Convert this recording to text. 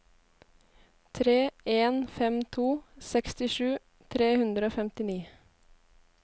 tre en fem to sekstisju tre hundre og femtini